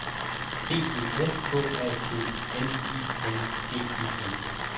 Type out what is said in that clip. B E S K A T N I N G E N